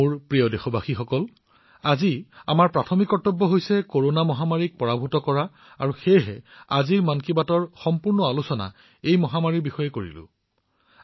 মোৰ মৰমৰ দেশবাসীসকল আজি আমি কৰোনা মহামাৰীৰ ওপৰত মন কী বাতৰ সমগ্ৰ আলোচনা কৰিছো কিয়নো আজি আমাৰ আটাইতকৈ ডাঙৰ অগ্ৰাধিকাৰ হৈছে এই ৰোগক পৰাস্ত কৰা